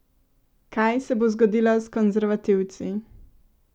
Kaj se bo zgodilo s konzervativci?